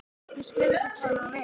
Ég skil ekki hvað hún á við.